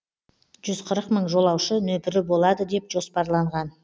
жүз қырық мың жолаушы нөпірі болады деп жоспарланған